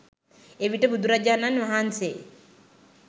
එවිට බුදුරජාණන් වහන්සේ